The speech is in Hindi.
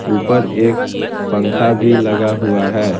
ऊपर एक पंखा भी लगा हुआ है।